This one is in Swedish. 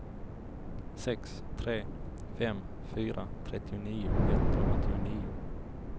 sex tre fem fyra trettionio etthundraåttionio